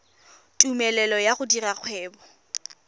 tumelelo ya go dira kgwebo